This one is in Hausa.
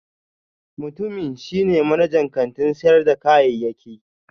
Mutumin shi ne manajan kantin sayar da kayayyaki